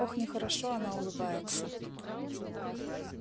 ох нехорошо она улыбается